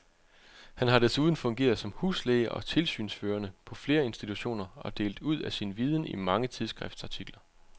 Han har desuden fungeret som huslæge og tilsynsførende på flere institutioner og delt ud af sin viden i mange tidsskriftsartikler.